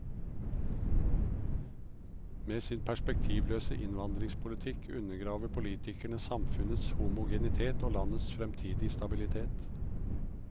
Med sin perspektivløse innvandringspolitikk undergraver politikerne samfunnets homogenitet og landets fremtidige stabilitet.